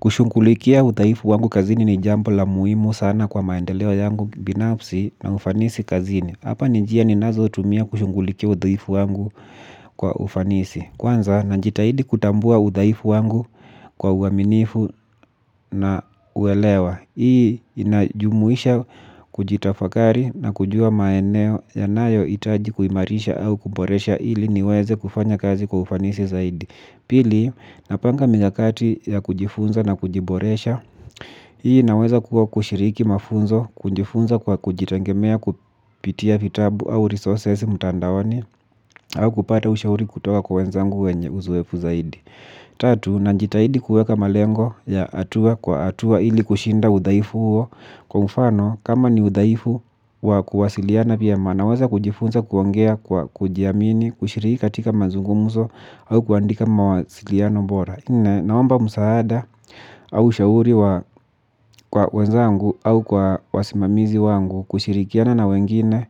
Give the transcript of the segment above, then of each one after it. Kushughulikia udhaifu wangu kazini ni jambo la muhimu sana kwa maendeleo yangu binafsi na ufanisi kazini. Hapa ni njia ninazo tumia kushughulikia udhaifu wangu kwa ufanisi. Kwanza na jitahidi kutambua udhaifu wangu kwa uaminifu na uelewa. Hii inajumuisha kujitafakari na kujua maeneo yanayo hitaji kuimarisha au kuboresha ili niweze kufanya kazi kwa ufanisi zaidi. Pili napanga mikakati ya kujifunza na kujiboresha. Hii naweza kuwa kushiriki mafunzo kujifunza kwa kujitegemea kupitia vitabu au resources mtandaoni au kupata ushauri kutoka kwa wenzangu wenye uzuefu zaidi. Tatu, najitahidi kuweka malengo ya hatua kwa hatua ili kushinda udhaifu huo. Kwa mfano kama ni udhaifu wa kuwasiliana vyema naweza kujifunza kuongea kwa kujiamini kushiriki katika mazungumzo au kuandika mawasiliano bora nne, naomba msaada au shauri wa kwa wenzangu au kwa wasimamizi wangu kushirikiana na wengine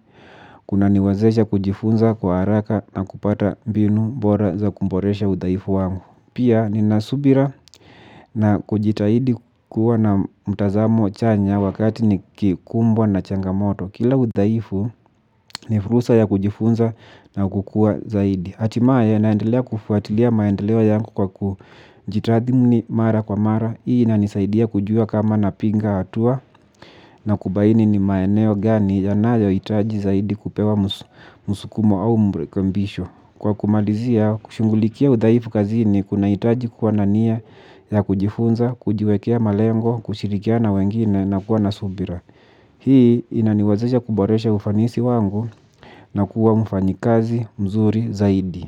kuna niwazesha kujifunza kwa haraka na kupata mbinu bora za kuboresha udhaifu wangu. Pia nina subira na kujitahidi kuwa na mtazamo chanya wakati nikikumbwa na changamoto. Kila udhaifu ni fursa ya kujifunza na kukua zaidi htimaya naendelea kufuatilia maendeleo yangu kwa kujitathmini mara kwa mara. Hii inanisaidia kujua kama na piga hatua na kubaini ni maeneo gani yanayo hitaji zaidi kupewa msukumo au mrekebisho. Kwa kumalizia kushughulikia udhaifu kazini kunahitaji kuwa na nia ya kujifunza kujiwekea malengo kushirikiana na wengine na kuwa na subira. Hii inaniwezesha kuboresha ufanisi wangu na kuwa ufanyikazi mzuri zaidi.